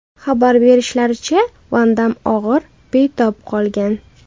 Xabar berishlaricha, Van Damm og‘ir betob qolgan.